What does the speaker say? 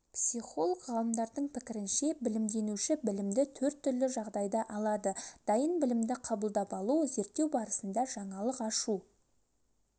психолог-ғалымдардың пікірінше білімденуші білімді төрт түрлі жағдайда алады дайын білімді қабылдап алу зерттеу барысында жаңалық ашу